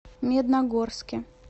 медногорске